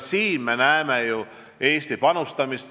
Ning me näeme selles Eesti panust.